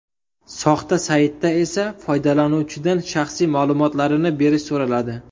Soxta saytda esa foydalanuvchidan shaxsiy ma’lumotlarini berish so‘raladi.